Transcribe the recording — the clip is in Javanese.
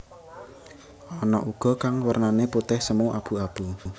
Ana uga kang wernané putih semu abu abu